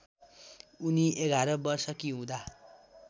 उनी ११ वर्षकी हुँदा